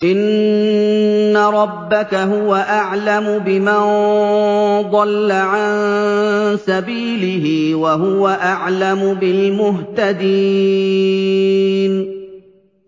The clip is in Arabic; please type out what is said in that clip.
إِنَّ رَبَّكَ هُوَ أَعْلَمُ بِمَن ضَلَّ عَن سَبِيلِهِ وَهُوَ أَعْلَمُ بِالْمُهْتَدِينَ